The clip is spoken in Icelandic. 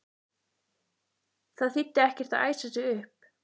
Það þýddi ekkert að æsa sig upp.